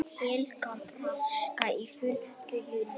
Helga Braga í flugfreyjuna